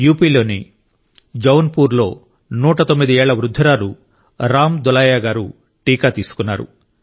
యూపీలోని జౌన్పూర్లో 109 ఏళ్ల వృద్ధురాలు రామ్ దులైయా గారు టీకా తీసుకున్నారు